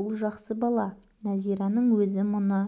бұл жақсы бала нәзираның өзі мұны